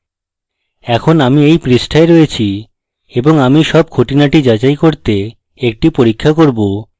এখন আমরা এই পৃষ্ঠাটিতে রয়েছি এবং আমি so খুঁটিনাটি যাচাই করতে একটি পরীক্ষা করব